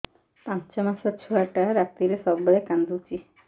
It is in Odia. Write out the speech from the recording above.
ପାଞ୍ଚ ମାସ ଛୁଆଟା ରାତିରେ ସବୁବେଳେ କାନ୍ଦୁଚି